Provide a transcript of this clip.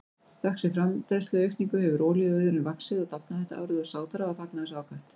Þökk sé framleiðsluaukningu hefur olíuauðurinn vaxið og dafnað þetta árið og Sádar hafa fagnað þessu ákaft.